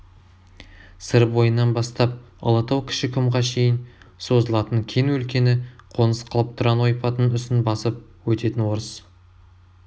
сыр бойынан бастап ұлытау кіші құмға шейін созылатын кең өлкені қоныс қылып тұран ойпатының үстін басып өтетін орыс